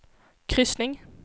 kryssning